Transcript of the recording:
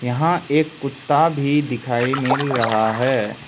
हां एक कुत्ता भी दिखाई मिल रहा है।